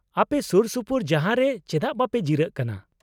-ᱟᱯᱮ ᱥᱩᱨᱥᱩᱯᱩᱨ ᱡᱟᱦᱟᱸ ᱨᱮ ᱪᱮᱫᱟᱜ ᱵᱟᱝᱯᱮ ᱡᱤᱨᱟᱹᱜ ᱠᱟᱱᱟ ?